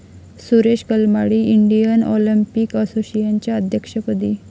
Suresh Kalmadi Indian Olympic असोसिएशनच्या अध्यक्षपदी